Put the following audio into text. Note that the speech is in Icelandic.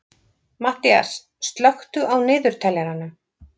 Matthías, slökktu á niðurteljaranum.